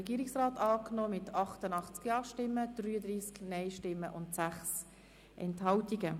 Regierungsrat und SiKMehrheit angenommen mit 88 Ja- zu 33 Nein-Stimmen bei 6 Enthaltungen.